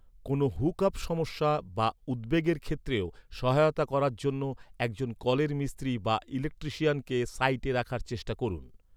কোনও হুকআপ সমস্যা বা উদ্বেগের ক্ষেত্রেও সহায়তা করার জন্য একজন কলের মিস্ত্রি বা ইলেকট্রিশিয়ানকে সাইটে রাখার চেষ্টা করুন।